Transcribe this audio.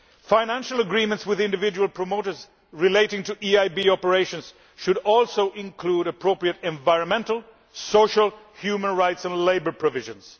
Financial agreements with individual promoters relating to EIB operations should also include appropriate environmental, social, human rights and labour provisions.